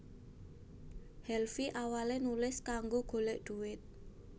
Helvy awale nulis kanggo golek duit